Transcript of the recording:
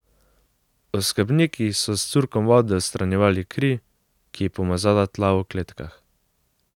Oskrbniki so s curkom vode odstranjevali kri, ki je pomazala tla v kletkah.